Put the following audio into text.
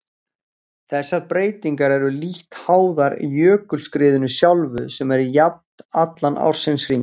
Þessar breytingar eru lítt háðar jökulskriðinu sjálfu sem er jafnt allan ársins hring.